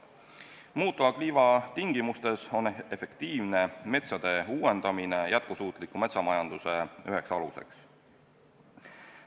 Muutuva kliima tingimustes on efektiivne metsade uuendamine jätkusuutliku metsamajanduse üheks aluseks.